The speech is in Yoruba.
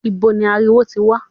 Ibo ni ariwo tí ń wá?